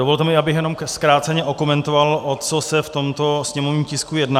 Dovolte mi, abych jenom zkráceně okomentoval, o co se v tomto sněmovním tisku jedná.